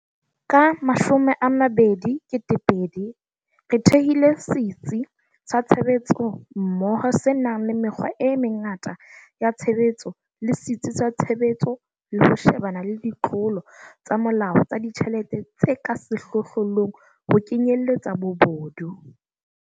Ka 2020, re thehile Setsi sa Tshebetsommoho se nang le mekgwa e mengata ya tshebetso le setsi sa tshebetso le ho shebana le ditlolo tsa molao tsa ditjhelete tse ka sehlohlolong, ho kenyeletsa bobodu.